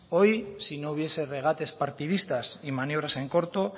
hoy si no hubiese regates partidistas y maniobras en corto